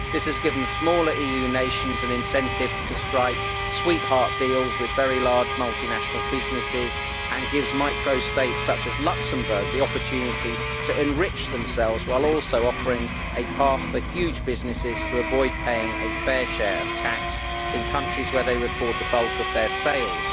This has given smaller EU nations an incentive to strike sweetheart deals with very large multinational businesses and gives micro states, such as Luxembourg, the opportunity to enrich themselves while also offering a path for huge businesses to avoid paying a fair share of tax in countries where they record the bulk of their sales.